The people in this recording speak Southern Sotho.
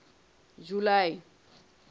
july